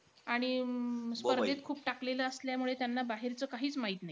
आणि अं स्पर्धेत खूप टाकलेलं असल्यामुळे त्यांना बाहेरचं काहीचं माहित नाई.